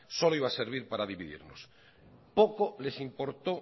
solo iba a servir para dividirnos poco les importó